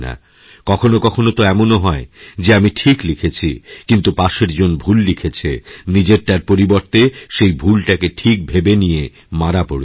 কখনো কখনো তোএমনও হয় যে আমি ঠিক লিখেছি কিন্তু পাশের জন ভুল লিখেছে নিজেরটার পরিবর্তে সেইভুলটাকে ঠিক ভেবে নিয়ে মারা পড়েছি